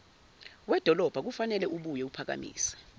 wedolobha kufaneleubuye uphakamise